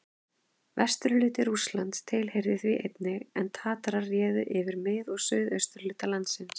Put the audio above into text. Vesturhluti Rússlands tilheyrði því einnig, en Tatarar réðu yfir mið- og suðurhluta landsins.